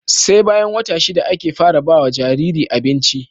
SE bayan wata shida ake fara bawa Jariri abinci